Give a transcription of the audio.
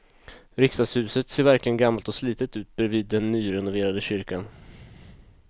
Riksdagshuset ser verkligen gammalt och slitet ut bredvid den nyrenoverade kyrkan.